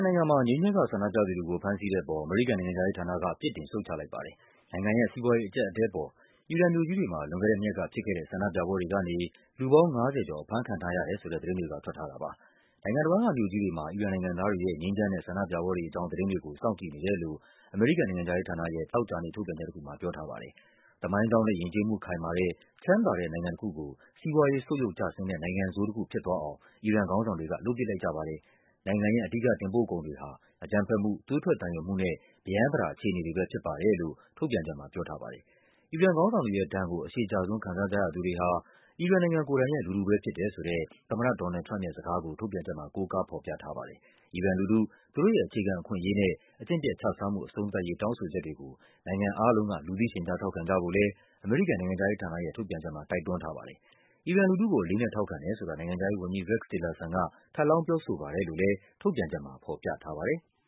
နိုင်ငံမှာ ငြိမ်းချမ်းစွာဆန္ဒပြသူတွေကို ဖမ်းဆီးတဲ့အပေါ် အမေရိကန်နိုင်ငံခြားရေးဌာနက ပြစ်တင် ရှုတ်ချလိုက်ပါတယ်။ နိုင်ငံ ရဲ့ စီးပွားရေးအကျပ်အတည်းပေါ် အီရန်မြို့ကြီးတွေမှာ လွန်ခဲ့တဲ့နှစ်ရက်ကဖြစ်ခဲ့တဲ့ ဆန္ဒပြပွဲတွေကနေ လူပေါင်း ၅၀ ကျော် အဖမ်းခံထားရတယ်ဆိုတဲ့ သတင်းတွေက ထွက်ထားတာပါ။ နိုင်ငံတဝန်းကမြို့ကြီးတွေမှာ အီရန်နိုင်ငံသားတွေရဲ့ ငြိမ်းချမ်းတဲ့ဆန္ဒပြပွဲတွေအကြောင်း သတင်းတွေ စောင့်ကြည့်နေတယ်လို့ နိုင်ငံခြားရေးဌာနရဲ့ သောကြာနေ့ထုတ်ပြန်ချက်တခုမှာ ပြောထားပါတယ်။ သမိုင်းကြောင်းနဲ့ယဉ်ကျေးမှုခိုင်မာတဲ့ ချမ်းသာတဲ့နိုင်ငံတခုကို စီးပွားရေးဆုတ်ယုတ်ကျဆင်းတဲ့ နိုင်ငံဆိုးတခုဖြစ်သွားအောင် အီရန်ခေါင်းဆောင်တွေက လုပ်ပစ်လိုက်ကြပါတယ်၊ နိုင်ငံရဲ့ အဓိကတင်ပို့ကုန်တွေဟာ အကြမ်းဖက်မှု၊ သွေးထွက်သံယိုမှုနဲ့ ပရမ်းပတာအခြေအနေတွေပဲ ဖြစ်ပါတယ်လို့ ထုတ်ပြန်ချက်မှာပြောထားပါတယ်။ အီရန်ခေါင်းဆောင်တွေရဲ့ဒဏ်ကို အရှည်ကြာဆုံး ခံစားကြရသူတွေဟာ အီရန်နိုင်ငံရဲ့ လူထုပဲဖြစ်တယ်ဆိုတဲ့ သမ္မတ ဒေါ်နယ်လ်ဒ်ထရမ့်ပ်ရဲ့ စကားကို ထုတ်ပြန်ချက်မှာ ကိုးကားဖော်ပြထားပါတ်ယ။ အီရန်လူထု၊ သူတို့ရဲ့ အခြေခံအခွင့်အရေးနဲ့ အကျင့်ပျက်ခြစားမှု အဆုံးသတ်ရေး တောင်းဆိုချက်တွေကို နိုင်ငံအားလုံးက လူသိ ရှင်ကြား ထောက်ခံကြဖို့လဲ အမေရိကန်နိုင်ငံခြားရေးဌာနရဲ့ ထုတ်ပြန်ချက်မှာ တိုက်တွန်းထားပါတယ်။ အီရန်လူထုကို အလေးအနက် ထောက်ခံတယ်ဆိုတာ နိုင်ငံခြားရေးဝန်ကြီး Rex Tillerson က ထပ်လောင်း ပြောဆိုပါတယ်လို့လဲ ထုတ်ပြန်ချက်မှာ ဖော်ပြထားပါတယ်။